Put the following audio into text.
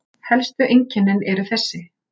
Helstu einkennin eru þessi